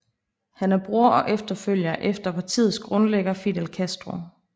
Han er bror og efterfølger efter partiets grundlægger Fidel Castro